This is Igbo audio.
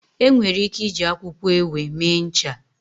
Enwere ike iji akwụkwọ ewe mee ncha.